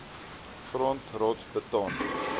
grond rots beton